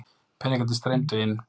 Peningarnir streymdu inn.